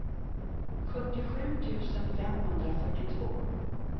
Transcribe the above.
sjuttiosju tusen femhundrafyrtiotvå